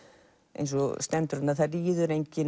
eins og stendur þarna það ríður enginn